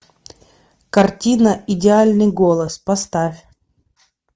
картина идеальный голос поставь